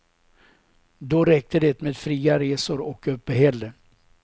Då räckte det med fria resor och uppehälle.